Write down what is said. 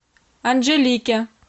анжелике